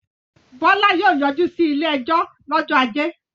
Bọ́lá yóò yọjú sí ilé-ẹjọ́ lọ́jọ́ ajé.